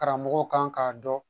Karamɔgɔw kan k'a dɔn